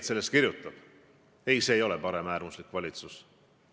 Ma kinnitasin neid plaane ka NATO peasekretärile, samuti Euroopa Komisjoni presidendile ja ülemkogu eesistujale.